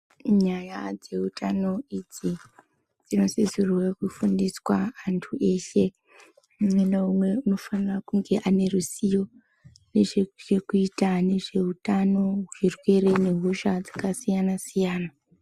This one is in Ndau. Nyaya dzehutano idzi dzinosisirwa Kufundiswa antu eshe umwe naumwe anosisirwa neruzivo nezvekuuta nezvehutano zvirwere nehosha dzakasiyana siyana.